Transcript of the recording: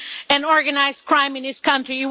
and organised crime in his country.